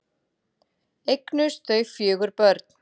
Eignuðust þau fjögur börn.